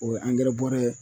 O ye angɛrɛ bɔrɛ ye